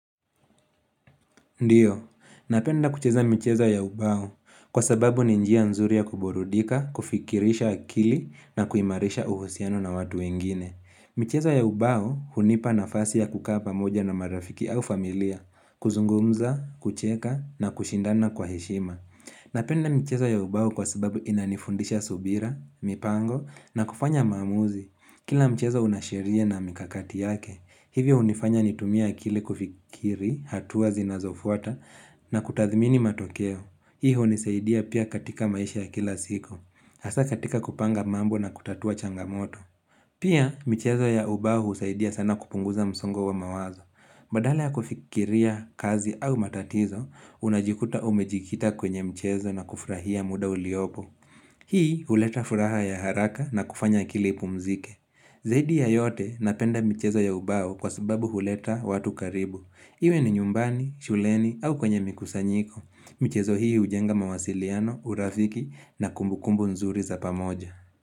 Ndiyo, napenda kucheza michezo ya ubao kwa sababu ni njia nzuri ya kuburudika, kufikirisha akili na kuimarisha uhusiano na watu wengine. Michezo ya ubao hunipa nafasi ya kukaa moja na marafiki au familia, kuzungumza, kucheka na kushindana kwa heshima. Napenda mcheza ya ubao kwa sababu inanifundisha subira, mipango na kufanya mamuzi. Kila mchezo unasheria na mikakati yake, hivyo hunifanya nitumie akili kufikiri, hatua zinazofuata na kutadhimini matokeo. Hii hunisaidia pia katika maisha ya kila siku, hasa katika kupanga mambo na kutatua changamoto. Pia michezo ya ubao husaidia sana kupunguza msongo wa mawazo. Badala ya kufikiria kazi au matatizo, unajikuta umejikita kwenye mchezo na kufurahia muda uliopo. Hii huleta furaha ya haraka na kufanya akili ipumzike. Zaidi ya yote napenda michezo ya ubao kwa sababu huleta watu karibu. Iwe ni nyumbani, shuleni au kwenye mikusanyiko. Michezo hii hujenga mawasiliano, urafiki na kumbukumbu nzuri za pamoja.